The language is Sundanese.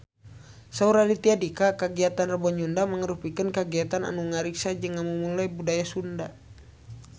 Saur Raditya Dika kagiatan Rebo Nyunda mangrupikeun kagiatan anu ngariksa jeung ngamumule budaya Sunda